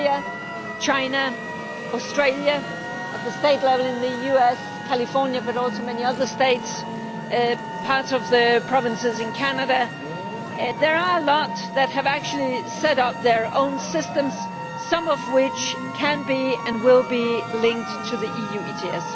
Korea, China, Australia, in the US at state level California but also many other states and some of the provinces in Canada there are a lot that have actually set up their own systems, some of which can be and will be linked to the EU ETS.